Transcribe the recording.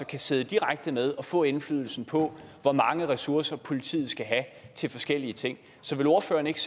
kan sidde direkte med og få indflydelse på hvor mange ressourcer politiet skal have til forskellige ting så vil ordføreren ikke